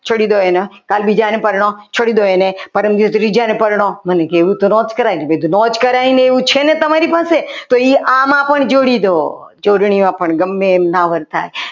છોડી દો કાલ બીજા ને પરણો છોડી દો એને પરમ દિવસે ત્રીજા ને પરનો મન કીધું એવું તો ના જ કરાય ને તો એવું તો ના જ કરાય ને છે ને તમારી પાસે તો એ આમાં પણ જોડી દો જોડણીઓ પણ ગમે એમ ના વર્તાય.